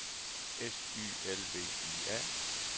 S Y L V I A